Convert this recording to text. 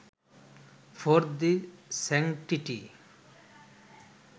for the sanctity